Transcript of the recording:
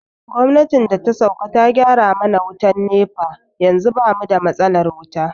Gwamnatin da ta sauƙa ta gyara mana wutan NEPA yanzu bamu da matsalar wuta